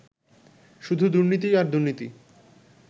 শুধু দুর্নীতি আর দুর্নীতি